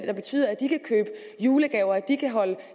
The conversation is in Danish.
der betyder at de kan købe julegaver og at de kan holde